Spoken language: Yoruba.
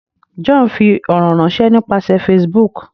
John ń fí ọrọ ránṣẹ nípasẹ Facebook.